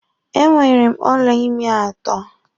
E nwere m ọla ịmi atọ.